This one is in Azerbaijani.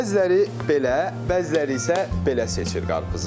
Bəziləri belə, bəziləri isə belə seçir qarpızı.